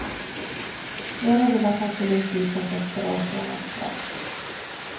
Flera ville att han skulle utvisas efter avtjänat straff.